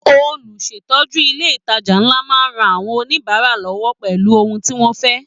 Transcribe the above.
Olùsétọ́ju ilé ìtàjà nlá máa n rán àwọn oníbárà lọwọ pẹlú ohùn tí wọn fẹ.